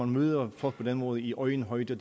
møder folk på den måde i øjenhøjde